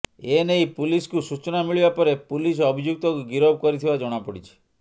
ା ଏ ନେଇ ପୁଲିସକୁ ସୂଚନା ମିଳିବା ପରେ ପୁଲିସ ଅଭିଯୁକ୍ତକୁ ଗିରଫ କରିଥିବା ଜଣାପଡ଼ିଛି